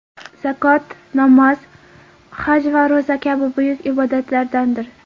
Zakot namoz, haj va ro‘za kabi buyuk ibodatlardandir.